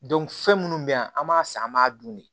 fɛn minnu bɛ yan an b'a san an b'a dun de